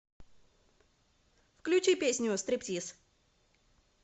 включи песню стриптиз